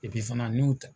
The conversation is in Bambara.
fana n y'u ta